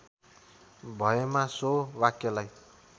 भएमा सो वाक्यलाई